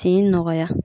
Tin nɔgɔya